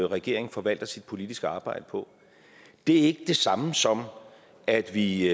regeringen forvalter sit politiske arbejde på det er ikke det samme som at vi